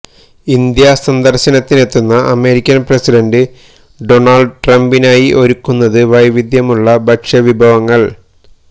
India സന്ദര്ശനത്തിനെത്തുന്ന American president Donald ട്രംപിനായി ഒരുക്കുന്നത് വൈവിധ്യമുള്ള ഭക്ഷ്യവിഭവങ്ങള്